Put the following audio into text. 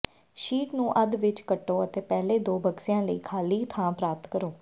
sheet ਨੂੰ ਅੱਧ ਵਿਚ ਕੱਟੋ ਅਤੇ ਪਹਿਲੇ ਦੋ ਬਕਸਿਆਂ ਲਈ ਖਾਲੀ ਥਾਂ ਪ੍ਰਾਪਤ ਕਰੋ